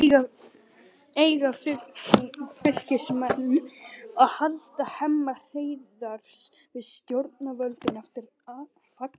Eiga Fylkismenn að halda Hemma Hreiðars við stjórnvölinn eftir fallið?